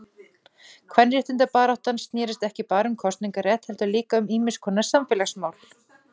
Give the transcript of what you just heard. Kvenréttindabaráttan snérist ekki bara um kosningarétt heldur líka um ýmiskonar samfélagsmál.